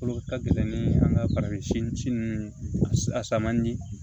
Olu ka gɛlɛn ni an ka farafin si ninnu a sa man di